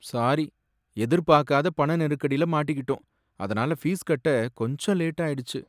Sorry! எதிர்பார்க்காத பண நெருக்கடில மாட்டிகிட்டோம், அதனால ஃபீஸ் கட்ட கொஞ்சம் லேட் ஆயிடுச்சு.